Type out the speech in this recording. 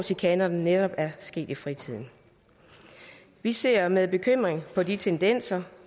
chikanerne netop er sket i fritiden vi ser med bekymring på de tendenser